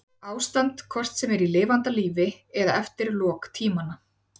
Ástand hvort sem er í lifanda lífi eða eftir lok tímanna.